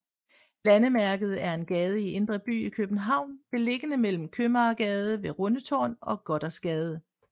Landemærket er en gade i Indre By i København beliggende mellem Købmagergade ved Rundetårn og Gothersgade